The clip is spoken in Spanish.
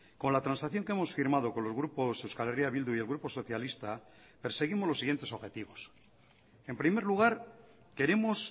con la transacción que hemos firmado con los grupos euskal herria bildu y el grupo socialista perseguimos los siguientes objetivos en primer lugar queremos